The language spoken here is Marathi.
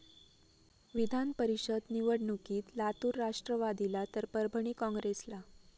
विधानपरिषद निवडणूकीत लातूर राष्ट्रवादीला तर परभणी काँग्रेसला